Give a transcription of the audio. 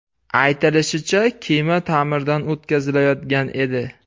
Aytilishicha, kema ta’mirdan o‘tkazilayotgan edi.